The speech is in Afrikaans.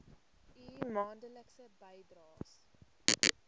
u maandelikse bydraes